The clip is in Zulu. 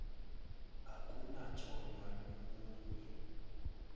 akunathonya lomu nye